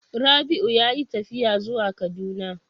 Rabiu yayi tafiya zuwa kaduna.